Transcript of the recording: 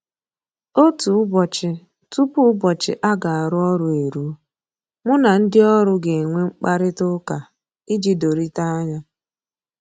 Otu ụbọchị tupu ụbọchị a ga-arụ ọrụ eruo, mụ na ndị ọrụ ga-enwe mkparịta ụka iji dorita anya